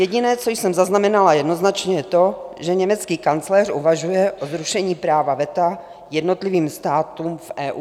Jediné, co jsem zaznamenala jednoznačně, je to, že německý kancléř uvažuje o zrušení práva veta jednotlivým státům v EU.